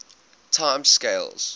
time scales